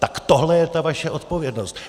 Tak tohle je ta vaše odpovědnost.